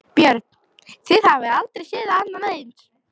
Björn: Þið hafið aldrei séð annað eins?